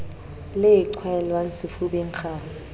le e qhwaelwang sefubeng kgau